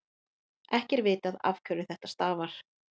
ekki er vitað afhverju þetta stafar